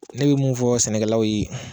Ne be mun fɔ sɛnɛkɛlaw ye